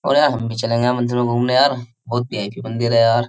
और यार हम भी चलेंगे मंदिर में घूमने यार बहुत मंदिर है यार --